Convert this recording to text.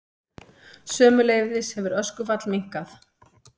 Sömuleiðis hefur öskufall minnkað